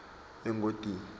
engodini